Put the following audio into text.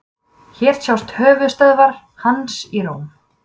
Hér sjást höfuðstöðvar hans í Róm.